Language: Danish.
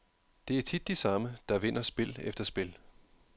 Det er tit de samme, der vinder spil efter spil.